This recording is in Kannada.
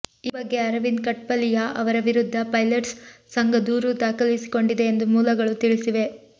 ಈ ಬಗ್ಗೆ ಅರವಿಂದ್ ಕಠ್ಪಲಿಯಾ ಅವರ ವಿರುದ್ಧ ಪೈಲಟ್ಸ್ ಸಂಘ ದೂರು ದಾಖಲಿಸಿಕೊಂಡಿದೆ ಎಂದು ಮೂಲಗಳು ತಿಳಿಸಿವೆ